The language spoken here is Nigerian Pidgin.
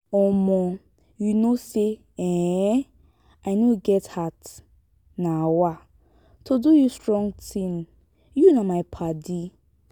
um you know say um i no get heart um to do you strong thing you na my paddy